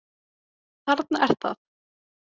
Þarna er það.